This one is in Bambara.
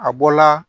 A bɔla